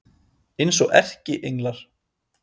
Eins og erkienglar.